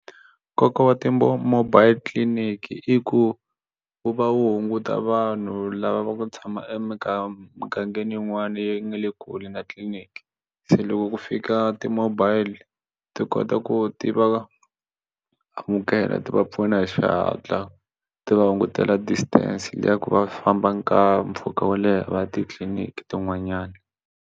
Nkoka wa ti-mobile clinic i ku wu va wu hunguta vanhu lava va ku tshama emugangeni yin'wana yi nga le kule na tliliniki se loko ku fika ti-mobile ti kota ku ti va amukela ti va pfuna hi xihatla ti va hungutela distance liya ku va famba mpfhuka wo leha va ya titliniki tin'wanyana.